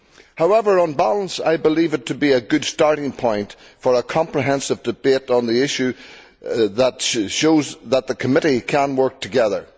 However, on balance I believe it to be a good starting point for a comprehensive debate on the issue and shows that the Committee can work together.